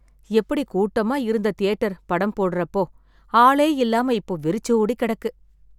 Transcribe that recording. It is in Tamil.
எப்படி கூட்டமா இருந்த தியேட்டர்? படம் போடறப்போ, ஆளே இல்லாம இப்போ வெறிச்சோடி கெடக்கு.